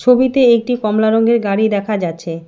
ছবিতে একটি কমলা রংয়ের গাড়ি দেখা যাচ্ছে।